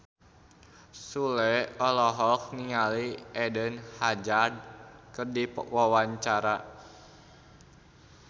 Sule olohok ningali Eden Hazard keur diwawancara